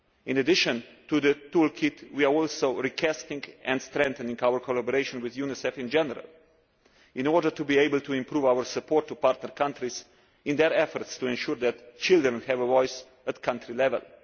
In addition to the tool kit, we are also recasting and strengthening our collaboration with UNICEF in general in order to be able to improve our support to partner countries in their efforts to ensure that children have a voice at country level.